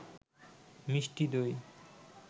মিষ্টি দই